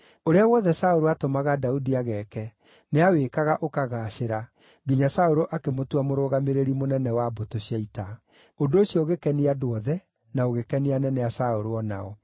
Ũrĩa wothe Saũlũ aatũmaga Daudi ageeke, nĩawĩkaga ũkagaacĩra, nginya Saũlũ akĩmũtua mũrũgamĩrĩri mũnene wa mbũtũ cia ita. Ũndũ ũcio ũgĩkenia andũ othe, na ũgĩkenia anene a Saũlũ o nao.